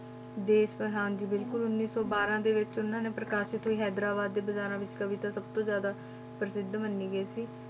ਦੇਸ ਹਾਂਜੀ ਬਿਲਕੁਲ ਉੱਨੀ ਸੌ ਬਾਰਾਂ ਦੇ ਵਿੱਚ ਉਹਨਾਂ ਨੇ ਪ੍ਰਕਾਸ਼ਿਤ ਹੋਈ ਹੈਦਰਾਬਾਦ ਦੇ ਬਾਜ਼ਾਰਾਂ ਵਿੱਚ ਕਵਿਤਾ ਸਭ ਤੋਂ ਜ਼ਿਆਦਾ ਪ੍ਰਸਿੱਧ ਮੰਨੀ ਗਈ ਸੀ।